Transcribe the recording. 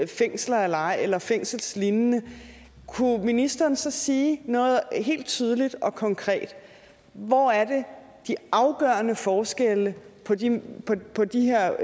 fængsler eller eller fængselslignende kunne ministeren så sige helt tydeligt og konkret hvor er det de afgørende forskelle på de på de her